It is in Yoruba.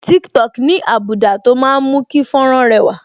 Tiktok ní́ àbùdá tó máa ń mú kí fọ́nrán rẹwà